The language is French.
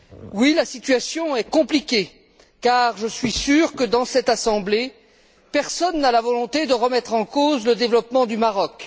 Oui, la situation est compliquée car je suis sûr que, dans cette Assemblée, personne n'a la volonté de remettre en cause le développement du Maroc.